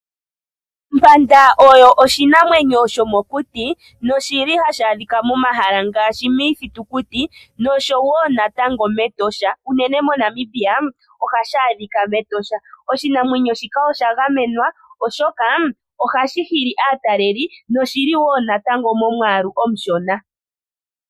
Ompanda oyo oshinamwenyo sho mokuti, noshili hashi adhika momahala ngaashi miithitukuti nosho wo natango mEtosha, unene moNamibia ohashi adhika mEtosha. Oshinamwenyo shika oshagamenwa oshoka ohashi hili aataleli noshili wo natango momwaalu omushona.